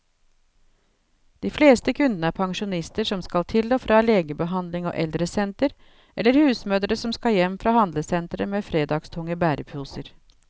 De fleste kundene er pensjonister som skal til og fra legebehandling og eldresenter, eller husmødre som skal hjem fra handlesentre med fredagstunge bæreposer.